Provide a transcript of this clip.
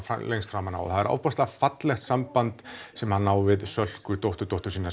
lengst framan af og það er ofboðslega fallegt samband sem hann á við Sölku dótturdóttur sína